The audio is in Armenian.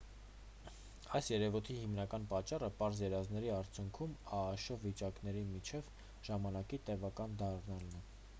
այս երևույթի հիմնական պատճառը պարզ երազների արդյունքում աաշ վիճակների միջև ժամանակի տևական դառնալն է